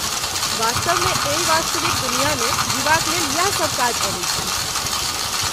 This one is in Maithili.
वास्तवमे एहि वास्तविक दुनियामे जीबाक लेल यैह सब काज अबैत छै।